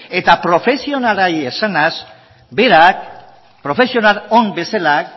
eta profesionalei esanez berak profesional on bezala